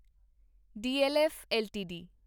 DLF LTD